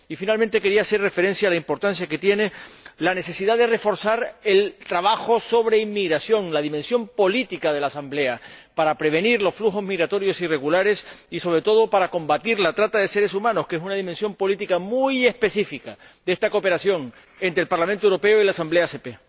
Y, finalmente, quería hacer referencia a la importancia que tiene la necesidad de reforzar el trabajo sobre inmigración, la dimensión política de la Asamblea, para prevenir los flujos migratorios irregulares y, sobre todo, para combatir la trata de seres humanos, que es una dimensión política muy específica de esta cooperación entre el Parlamento Europeo y la Asamblea ACP.